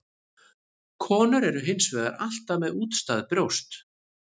Konur eru hins vegar alltaf með útstæð brjóst.